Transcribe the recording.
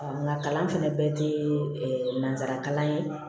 nka kalan fana bɛɛ tɛ nansarakalan ye